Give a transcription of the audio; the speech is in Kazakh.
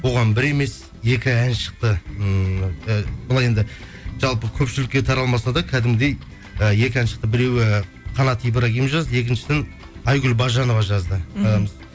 оған бір емес екі ән шықты ммм і былай енді жалпы көпшілікке таралмаса да кәдімгідей і екі ән шықты біреуі қанат ибрагим жазды екіншісін айгүл бажанова жазды мхм